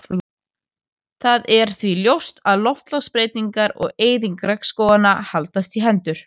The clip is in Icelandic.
Það er því ljóst að loftslagsbreytingar og eyðing regnskóganna haldast í hendur.